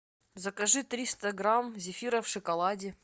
закажи триста грамм зефира в шоколаде